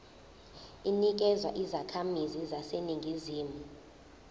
inikezwa izakhamizi zaseningizimu